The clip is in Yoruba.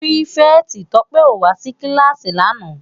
Pirifèti Tope ó wá si kilási làná